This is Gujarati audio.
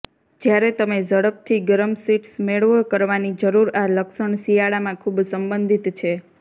જ્યારે તમે ઝડપથી ગરમ શીટ્સ મેળવો કરવાની જરૂર આ લક્ષણ શિયાળામાં ખૂબ સંબંધિત છે